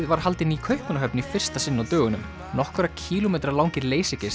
var haldin í Kaupmannahöfn í fyrsta sinn á dögunum nokkurra kílómetra langir